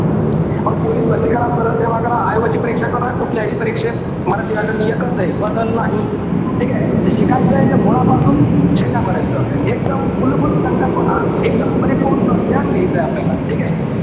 मग पोलीस भरती करा, सरळ सेवा करा, आयोगाची परीक्षा करा, कुठल्याही परीक्षेत, मराठी व्याकरण एकचे. बदल नाही. ठीकेय. त शिकायचंय त मुळापासून शेंड्यापर्यंत. एकदम मूलभूत संकल्पना, एकदम परिपूर्ण ज्ञान घायचय आपल्याला. ठीकेय?